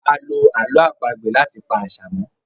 àlọ àlọ́ àpagbè lati pá àṣà mọ.